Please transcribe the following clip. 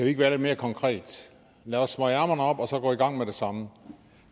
ikke være lidt mere konkrete lad os smøge ærmerne op og så gå i gang med det samme